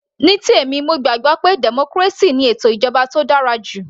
Ní tèmi mo gbàgbọ́ pé democracy ni ètò ìjọba tó dára jù